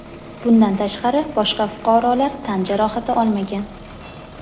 Bundan tashqari boshqa fuqarolar tan jarohati olmagan.